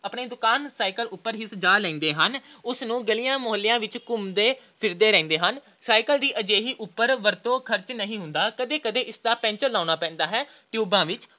ਆਪਣੀ ਦੁਕਾਨ cycle ਇਸ ਉਪਰ ਹੀ ਸਜਾ ਲੈਂਦੇ ਹਨ। ਉਸਨੂੰ ਗਲੀਆਂ-ਮੁਹੱਲਿਆਂ ਵਿੱਚ ਘੁੰਮਦੇ ਫਿਰਦੇ ਰਹਿੰਦੇ ਹਨ। cycle ਦੀ ਅਜਿਹੀ ਵਰਤੋਂ ਉਪਰ ਬਹੁਤ ਖਰਚ ਨਹੀਂ ਹੁੰਦਾ। ਕਦੇ-ਕਦੇ ਇਸਦਾ ਪੈਂਚਰਲਗਾਉਣਾ ਪੈਂਦਾ ਹੈ। ਟਿਊਬਾਂ ਵਿੱਚ